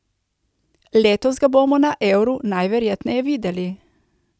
Letos ga bomo na Euru najverjetneje videli.